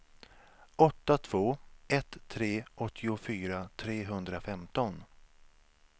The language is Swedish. åtta två ett tre åttiofyra trehundrafemton